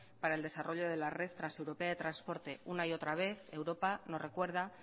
para el desarrollo de la red transeuropea de transporte una y otra vez europa nos recuerda